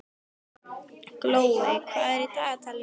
Glóey, hvað er í dagatalinu mínu í dag?